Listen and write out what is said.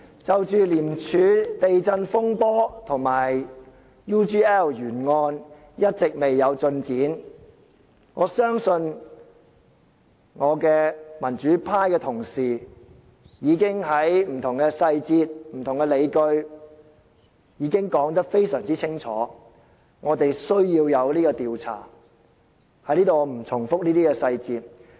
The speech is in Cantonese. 就着廉政公署"地震"風波和 UGL 懸案一直未有進展，我相信我的民主派同事已經在不同細節和不同理據上說得非常清楚，有需要進行調查，我在此不再重複這些細節。